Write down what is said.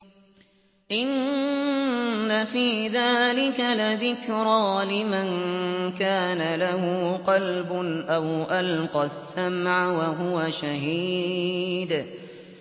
إِنَّ فِي ذَٰلِكَ لَذِكْرَىٰ لِمَن كَانَ لَهُ قَلْبٌ أَوْ أَلْقَى السَّمْعَ وَهُوَ شَهِيدٌ